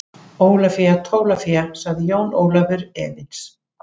Ólafía Tólafía, sagði Jón Ólafur efins.